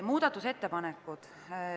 Muudatusettepanekud.